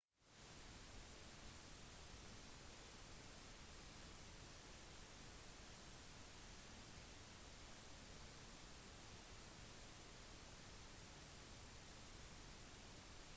dersom det er første gang du reiser til et u-land eller til en ny del av verden vær forberedt på et potensielt kultursjokk